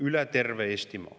Jaak Aab, palun!